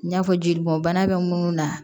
N y'a fɔ jelibɔn bana bɛ munnu na